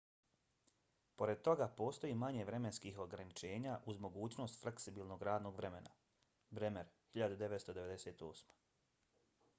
pored toga postoji manje vremenskih ograničenja uz mogućnost fleksibilnog radnog vremena. bremer 1998